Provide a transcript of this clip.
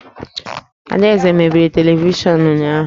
Adaeze mebiri televishọnụ ụnyahụ